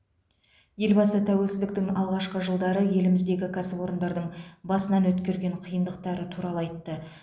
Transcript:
елбасы тәуелсіздіктің алғашқы жылдары еліміздегі кәсіпорындардың басынан өткерген қиындықтары туралы айтты